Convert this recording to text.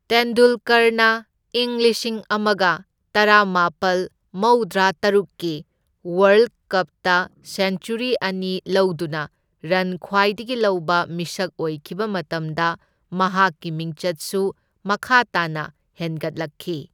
ꯇꯦꯟꯗꯨꯜꯀꯔꯅ ꯏꯪ ꯂꯤꯁꯤꯡ ꯑꯃꯒ ꯇꯔꯥꯃꯥꯄꯜ ꯃꯧꯗ꯭ꯔꯥꯇꯔꯨꯛꯀꯤ ꯋꯥꯔꯜꯗ ꯀꯞꯇ ꯁꯦꯟꯆꯨꯔꯤ ꯑꯅꯤ ꯂꯧꯗꯨꯅ ꯔꯟ ꯈ꯭ꯋꯥꯏꯗꯒꯤ ꯂꯧꯕ ꯃꯤꯁꯛ ꯑꯣꯏꯈꯤꯕ ꯃꯇꯝꯗ ꯃꯍꯥꯛꯀꯤ ꯃꯤꯡꯆꯠꯁꯨꯨ ꯃꯈꯥꯥ ꯇꯥꯅ ꯍꯦꯟꯒꯠꯂꯛꯈꯤ꯫